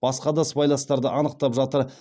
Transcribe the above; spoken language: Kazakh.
басқа да сыбайластарды анықтап жатыр